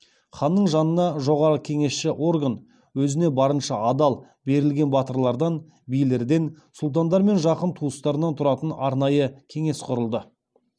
ханның жанынан жоғарғы кеңесші орган өзіне барынша адал берілген батырлардан билерден сұлтандар мен жақын туыстарынан тұратын арнайы кеңес құрылды